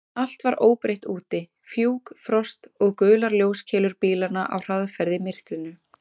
Allt var óbreytt úti: fjúk, frost og gular ljóskeilur bílanna á hraðferð í myrkrinu.